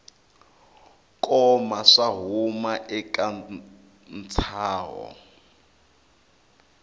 koma swo huma eka ntshaho